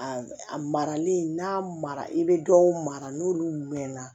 A a marali n'a mara i be dɔw mara n'olu mɛnna